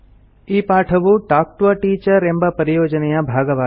ಈ ಪಾಠವು talk to a teacher ಎಂಬ ಪರಿಯೋಜನೆಯ ಭಾಗವಾಗಿದೆ